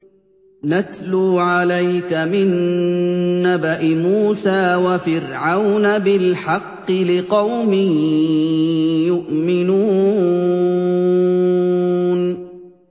نَتْلُو عَلَيْكَ مِن نَّبَإِ مُوسَىٰ وَفِرْعَوْنَ بِالْحَقِّ لِقَوْمٍ يُؤْمِنُونَ